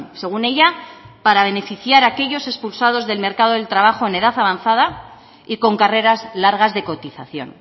según ella para beneficiar a aquellos expulsados del mercado del trabajo en edad avanzada y con carreras largas de cotización